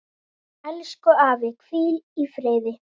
Elsku afi, hvíl í friði.